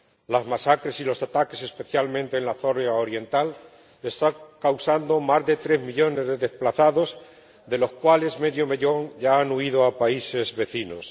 Las masacres y los ataques, especialmente en la zona oriental, están causando más de tres millones de desplazados, de los cuales medio millón ya han huido a países vecinos.